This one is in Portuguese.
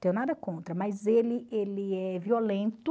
Tenho nada contra, mas ele ele é violento,